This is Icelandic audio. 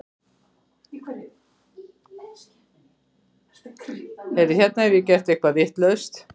flýtir maðurinn sér að segja.